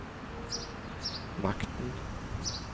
makten